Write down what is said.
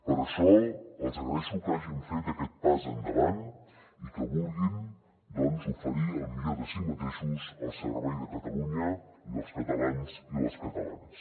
per això els agraeixo que hagin fet aquest pas endavant i que vulguin doncs oferir el millor de si mateixos al servei de catalunya i dels catalans i les catalanes